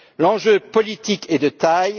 L'enjeu politique est de taille.